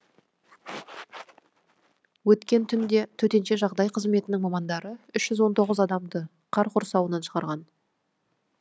өткен түнде төтенше жағдай қызметінің мамандары үш жүз он тоғыз адамды қар құрсауынан шығарған